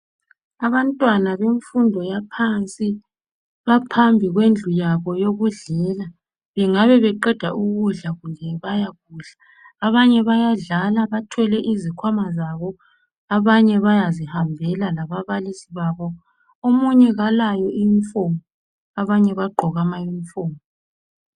Abantwana bemfundo yaphansi baphambi kwendlu yabo yokudlela bengabe beqeda ukudla kumbe bayakudla. Abanye bayadlala bathwele izikhwama zabo, abanye bayazihambela lababalisi babo, omunye kalayunifomu abanye bagqoke amayunifomu.